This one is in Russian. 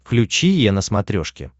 включи е на смотрешке